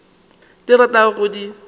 tšeo o ratago go di